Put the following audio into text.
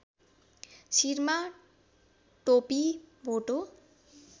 शिरमा टोपी भोटो